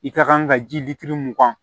I ka kan ka ji litiri mugan